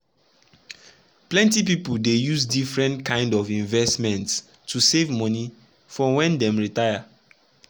plenty people dey use different kind of investments to save money for when dem retire.